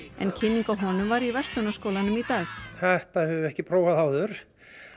en kynning á honum var í Verslunarskólanum í dag þetta höfum við ekki prófað áður